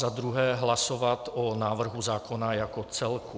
Za druhé hlasovat o návrhu zákona jako celku.